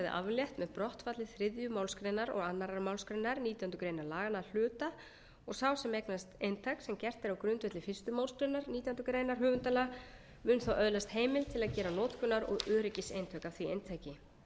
aflétt með brottfalli þriðju málsgrein og annarri málsgrein nítjánda grein laganna að hluta og sá sem eignast eintak sem gert er á grundvelli fyrstu málsgrein nítjánda grein höfundalaga mun þá öðlast heimild til að gera notkunar og öryggiseintak af því eintaki